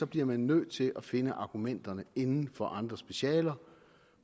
bliver man nødt til at finde argumenterne inden for andre specialer